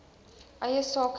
eie sake idee